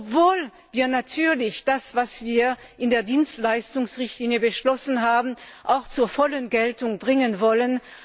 ist, obwohl wir natürlich das, was wir in der Dienstleistungsrichtlinie beschlossen haben, auch zur vollen Geltung bringen wollen.